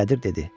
Qədir dedi: